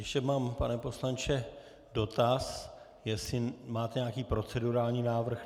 Ještě mám, pane poslanče, dotaz, jestli máte nějaký procedurální návrh.